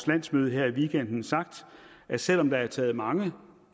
landsmøde her i weekenden sagt at selv om der er taget mange